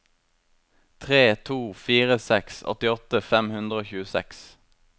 tre to fire seks åttiåtte fem hundre og tjueseks